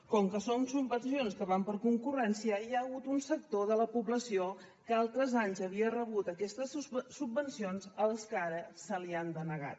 com que són subvencions que van per concurrència hi ha hagut un sector de la població que altres anys havia rebut aquestes subvencions al que ara se li han denegat